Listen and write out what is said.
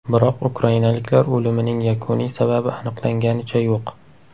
Biroq ukrainaliklar o‘limining yakuniy sababi aniqlanganicha yo‘q.